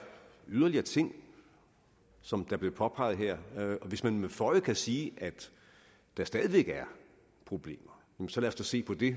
yderligere ting som det blev påpeget her og hvis man med føje kan sige at der stadig væk er problemer så lad os da se på det